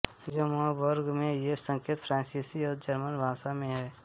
Luxembourg में ये संकेत फ्रांसीसी और जर्मन भाषा में हैं